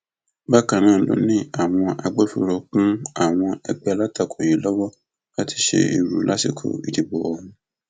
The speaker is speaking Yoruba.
bákan náà ló ní àwọn agbófinró kún àwọn ẹgbẹ alátakò yìí lọwọ láti ṣe èrú lásìkò ìdìbò ọhún